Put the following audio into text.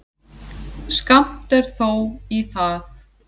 Skammt er þó í það.